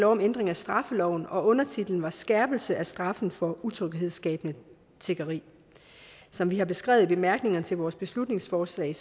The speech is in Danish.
om ændring af straffeloven og undertitlen var skærpelse af straffen for utryghedsskabende tiggeri som vi har beskrevet i bemærkningerne til vores beslutningsforslag